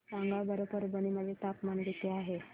सांगा बरं परभणी मध्ये तापमान किती आहे